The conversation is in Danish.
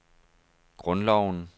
grundloven